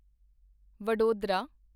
Vadodara